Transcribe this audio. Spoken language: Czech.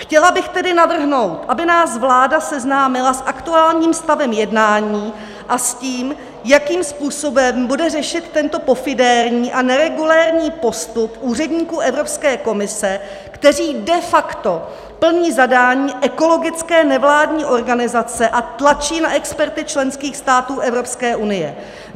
Chtěla bych tedy navrhnout, aby nás vláda seznámila s aktuálním stavem jednání a s tím, jakým způsobem bude řešit tento pofidérní a neregulérní postup úředníků Evropské komise, kteří de facto plní zadání ekologické nevládní organizace a tlačí na experty členských států Evropské unie.